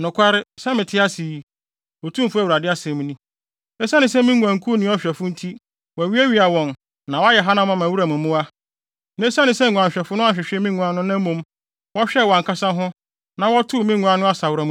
Nokware, sɛ mete ase yi, Otumfo Awurade asɛm ni, esiane sɛ me nguankuw nni ɔhwɛfo nti wɔawiawia wɔn na wɔayɛ hanam ama wuram mmoa, na esiane sɛ nguanhwɛfo no anhwehwɛ me nguan no na mmom wɔhwɛɛ wɔn ankasa ho na wɔtoo me nguan no asaworam